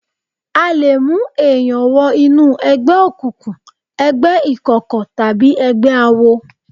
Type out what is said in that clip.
A lè mú èèyàn wo inú ẹgbẹ́ òkùnkùn, ẹgbẹ́ ìkọ̀kọ̀ tàbí ẹgbẹ́ àwo.